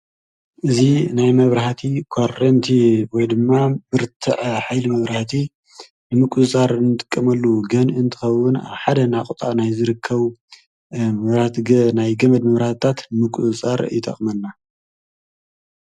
እዚ ናይ መብራህቲ ኮረንቲ ወይ ድማ ብርትዐ ሓይሊ መብራህቲ ንምቁፅጻር ንጥቀመሉ ገንኢ እንትከዉን ኣብ ሓደ ናቁጣ ናይ ዝርከቡ ናይ ገመድ መብራህታት ንምቁፅጻር ይጠቅመና ።